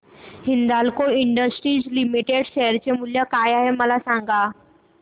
Hindalco industries limited share मूल्य काय आहे मला सांगा